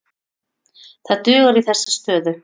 Það dugar í þessa stöðu.